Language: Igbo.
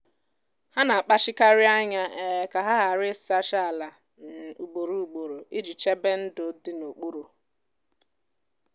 ha na-akpachikarị anya um ka ha ghara ịsacha ala um ugboro ugboro iji chebe ndụ dị n'okpuru.